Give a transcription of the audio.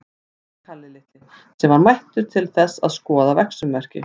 sagði Kalli litli, sem var mættur til þess að skoða verksummerki.